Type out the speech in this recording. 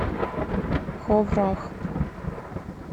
ховрах